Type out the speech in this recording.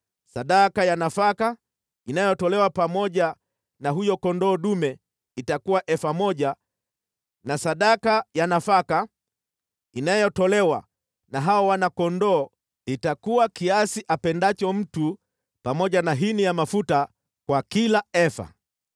Sadaka ya nafaka inayotolewa pamoja na huyo kondoo dume itakuwa efa moja na sadaka ya nafaka inayotolewa na hao wana-kondoo itakuwa kiasi apendacho mtu pamoja na hini ya mafuta kwa kila efa.